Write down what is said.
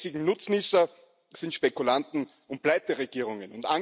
Die einzigen Nutznießer sind Spekulanten und Pleiteregierungen.